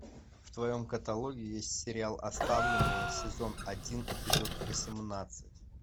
в твоем каталоге есть сериал оставленные сезон один эпизод восемнадцать